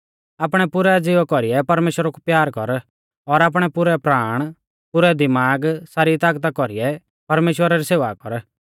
आपणै पुरै ज़िवा कौरीऐ परमेश्‍वरा कु प्यार कर और आपणै पुरै प्राण पुरै दिमाग सारी तागता कौरीऐ परमेश्‍वरा री सेवा कर